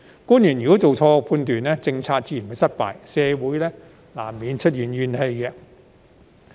假如官員做錯判斷，政策自然會失敗，社會難免出現怨氣。